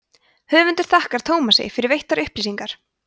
höfundur þakkar tómasi fyrir veittar upplýsingar